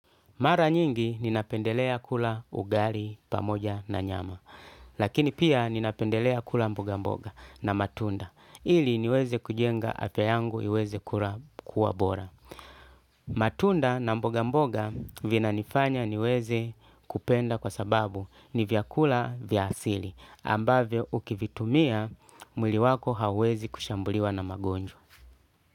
Mara nyingi ninapendelea kula ugali pamoja na nyama, lakini pia ninapendelea kula mboga mboga na matunda, ili niweze kujenga afia yangu iweze kuwa bora. Matunda na mboga mboga vina nifanya niweze kupenda kwa sababu ni vyakula vyasili, ambavio ukivitumia mwili wako hawezi kushambuliwa na magonjwa.